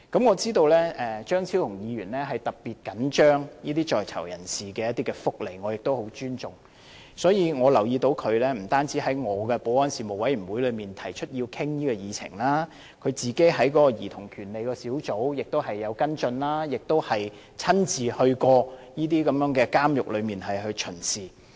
我知道張超雄議員特別緊張在囚人士的福利，我亦很尊重，所以，我留意到他不單在我的保安事務委員會內提出要討論這項議題，他在兒童權利小組委員會中亦有跟進，亦親自巡視過這些監獄。